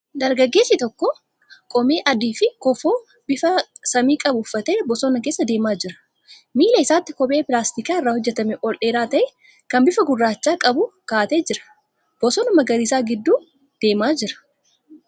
Dargaggeessi tokko qomee adiifi kofoo bifa samii qabu uffatee bosona keessa deemaa jira. Miila isaatti kophee pilaastikii irraa hojjetame ol dheeraa ta'e, kan bifa gurraacha qabu kaa'atee jira. Bosona magariisa gidduu deemaa jira.